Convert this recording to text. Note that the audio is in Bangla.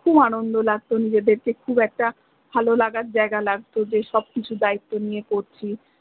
খুব আনন্দ লাগত নিজেদেরকে খুব একটা ভালো লাগার জায়্গা লাগত যে সব কিছু দায়িত্ব নিয়ে করছি